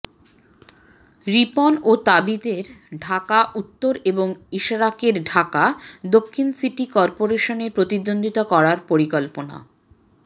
রিপন ও তাবিথের ঢাকা উত্তর এবং ইশরাকের ঢাকা দক্ষিণ সিটি করপোরেশনে প্রতিদ্বন্দ্বিতা করার পরিকল্পনা